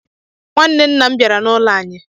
Nwanne nna'm biara na ụlọ anyi.